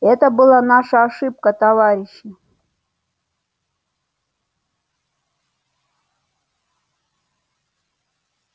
это была наша ошибка товарищи